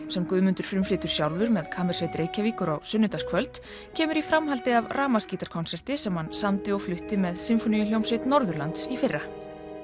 sem Guðmundur frumflytur sjálfur með kammersveit Reykjavíkur á sunnudagskvöld kemur í framhaldi af rafmagnsgítarkonserti sem hann samdi og flutti með sinfóníuhljómsveit Norðurlands í fyrra